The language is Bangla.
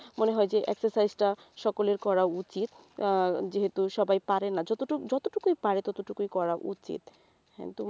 মনে হয় যে exercise টা সকলের করা উচিত আহ যেহেতু সবাই পারেনা যতটুকুই যতটুকুই পারে ততটুকুই করা উচিত হ্যাঁ তো